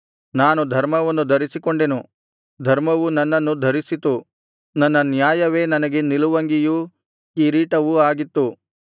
ನಾನು ಧರ್ಮವನ್ನು ಧರಿಸಿಕೊಂಡೆನು ಧರ್ಮವು ನನ್ನನ್ನು ಧರಿಸಿತು ನನ್ನ ನ್ಯಾಯವೇ ನನಗೆ ನಿಲುವಂಗಿಯೂ ಕಿರೀಟವೂ ಆಗಿತ್ತು